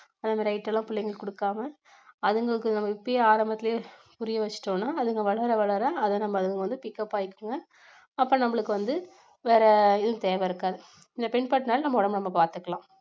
அந்த மாதிரி item எல்லாம் பிள்ளைங்களுக்கு கொடுக்காம அதுங்களுக்கு நம்ம இப்பையே ஆரம்பத்திலேயே புரிய வெச்சிட்டோம்னா அதுங்க வளர வளர அதை நம்ம அதுங்க வந்து pickup ஆயிக்குங்க அப்ப நம்மளுக்கு வந்து வேற இது தேவை இருக்காது இதை பின்பற்றினாலே நம்ம உடம்பை நம்ம பாத்துக்கலாம்.